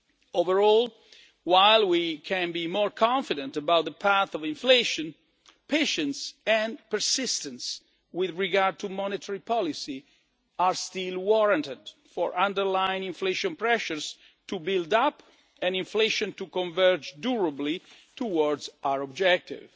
Overall, while we can be more confident about the path of inflation, patience and persistence with regard to monetary policy are still warranted for underlying inflation pressures to build up and inflation to converge durably towards our objective.